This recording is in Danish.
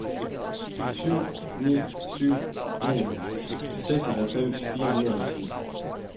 syv ni syv en seksoghalvfems fire hundrede og ti